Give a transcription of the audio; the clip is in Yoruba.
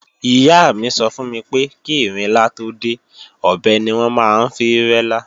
Ìyá mi sọ fún mi pé kí ìrinlá tó dé, ọ̀bẹ ni wọ́n máa ń fi rẹ́lá